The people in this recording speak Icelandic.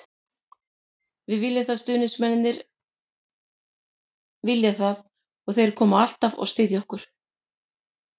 Við viljum það, stuðningsmennirnir vilja það og þeir koma alltaf og styðja okkur.